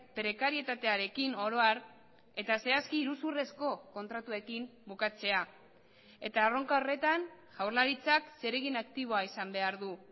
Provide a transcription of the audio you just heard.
prekarietatearekin oro har eta zehazki iruzurrezko kontratuekin bukatzea eta erronka horretan jaurlaritzak zeregin aktiboa izan behar du